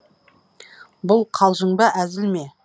бұл қалжың ба әзіл ме